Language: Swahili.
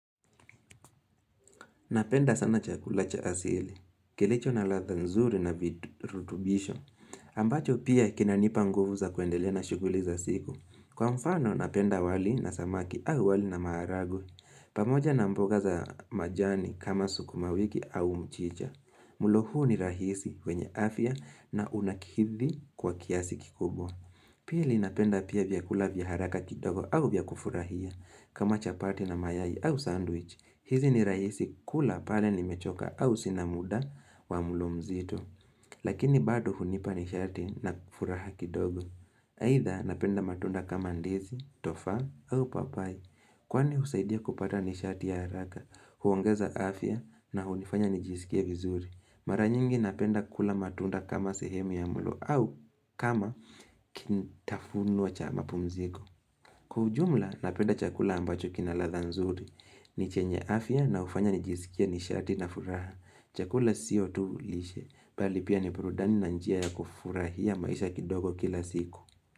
Napenda sana chakula cha asili, kilicho na ladha nzuri na virutubisho, ambacho pia kinanipa nguvu za kuendelea na shughuli za siku. Kwa mfano napenda wali na samaki au wali na maharagwe, pamoja na mboga za majani kama sukuma wiki au mchicha. Mlo huu ni rahisi kwenye afya na unakidhi kwa kiasi kikubwa. Pili napenda pia vyakula vya haraka kidogo au vya kufurahia kama chapati na mayai au sandwich. Hizi ni rahisi kula pale nimechoka au sina muda wa mlo mzito. Lakini bado hunipa nishati na furaha kidogo. Aidha napenda matunda kama ndizi, tofa au papai. Kwani husaidia kupata ni shati ya haraka, huongaza afya na hunifanya nijisikie vizuri. Mara nyingi napenda kula matunda kama sehemu ya mlo au kama kitafunwa cha mapumziko. Kwa ujumla napenda chakula ambacho kina ladha nzuri. Ni chenye afya na hufanya nijisikia nishati na furaha chakula sio tu lishe Bali pia ni burudani na njia ya kufurahia maisha kidogo kila siku.